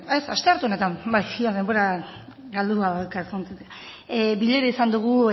ez astearte honetan bai denbora galdua daukat bilera izan dugu